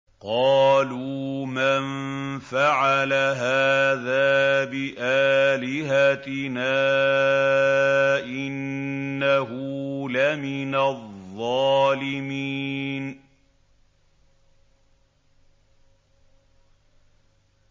قَالُوا مَن فَعَلَ هَٰذَا بِآلِهَتِنَا إِنَّهُ لَمِنَ الظَّالِمِينَ